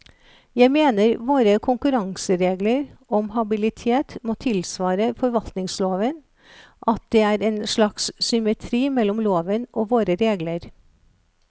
Jeg mener våre konkurranseregler om habilitet må tilsvare forvaltningsloven, at det er en slags symmetri mellom loven og våre regler.